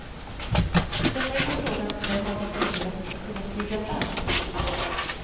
För mig är frågan vem av de övriga som skall kunna stiga fram.